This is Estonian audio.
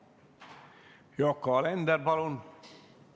Yoko Alender, palun!